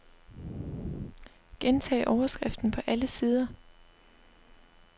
Gentag overskriften på alle sider.